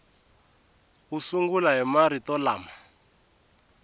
u sungula hi marito lama